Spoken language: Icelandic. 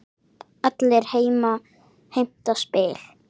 Allir heimta spil.